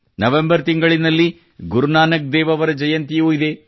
November ತಿಂಗಳಿನಲ್ಲಿ ಗುರುನಾನಕ್ ದೇವ್ ಅವರ ಜಯಂತಿಯೂ ಇದೆ